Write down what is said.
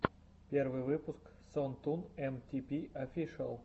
первый выпуск сон тун эм ти пи офишиал